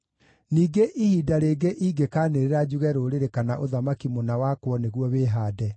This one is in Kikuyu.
Ningĩ ihinda rĩngĩ ingĩkaanĩrĩra njuge rũrĩrĩ kana ũthamaki mũna wakwo nĩguo wĩhaande,